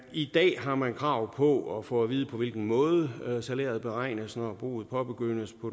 i dag har man krav på at få at vide på hvilken måde salæret beregnes når behandlingen af boet påbegyndes på